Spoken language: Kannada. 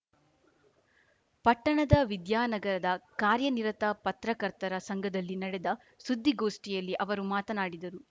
ಪಟ್ಟಣದ ವಿದ್ಯಾನಗರದ ಕಾರ್ಯನಿರತ ಪತ್ರಕರ್ತರ ಸಂಘದಲ್ಲಿ ನಡೆದ ಸುದ್ದಿಗೋಷ್ಠಿಯಲ್ಲಿ ಅವರು ಮಾತನಾಡಿದರು